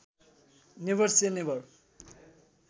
never से never